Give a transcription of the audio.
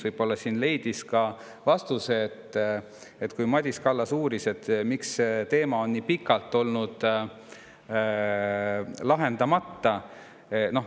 Võib-olla siin leidis vastuse ka see küsimus, kui Madis Kallas uuris, miks see teema on nii pikalt olnud lahendamata.